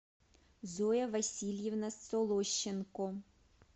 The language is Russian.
зоя васильевна солощенко